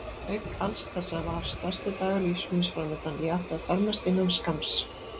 Auk alls þessa var stærsti dagur lífs míns framundan: ég átti að fermast innan skamms.